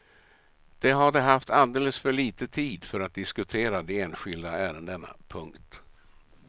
De hade haft alldeles för litet tid för att diskutera de enskilda ärendena. punkt